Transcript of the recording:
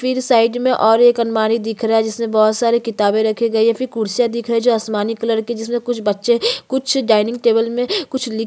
फिर साइड में एक और अलमारी दिख रहा है जिसमे बहोत सारे किताबे रखी गई है फिर कुर्सीया दिख रही है जो आसमानी कलर के है जिसमे कुछ बच्चे कुछ डाइनिंग टेबल में कुछ लिख --